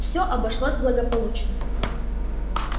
всё обошлось благополучно